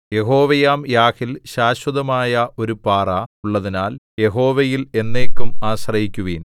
യഹോവയാം യാഹിൽ ശാശ്വതമായ ഒരു പാറ ഉള്ളതിനാൽ യഹോവയിൽ എന്നേക്കും ആശ്രയിക്കുവിൻ